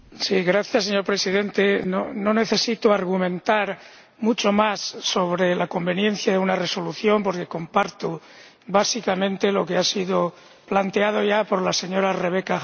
Señor Presidente, no necesito argumentar mucho más sobre la conveniencia de una resolución porque comparto básicamente lo que ha sido planteado ya por la señora Rebecca Harms.